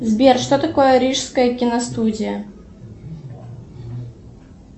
сбер что такое рижская киностудия